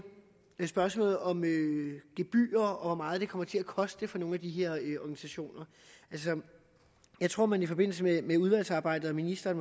spørgsmålet om gebyrer og hvor meget det kommer til at koste for nogle af de her organisationer altså jeg tror man i forbindelse med udvalgsarbejdet og ministeren